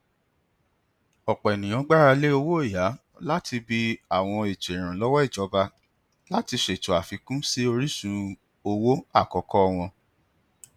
ọpọ ènìyàn gbáralé owóọyà látibi àwọn ètò ìrànlọwọ ìjọba láti ṣètò àfikún sí orísun owó àkọkọ wọn